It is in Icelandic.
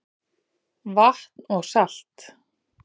Vatn og salt